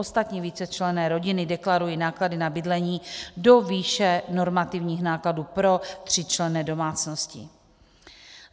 Ostatní vícečlenné rodiny deklarují náklady na bydlení do výše normativních nákladů pro tříčlenné domácnosti.